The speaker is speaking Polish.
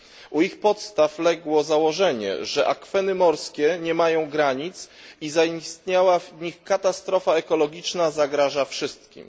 U ich podstaw legło założenie, że akweny morskie nie mają granic i zaistniała w nich katastrofa ekologiczna zagraża wszystkim.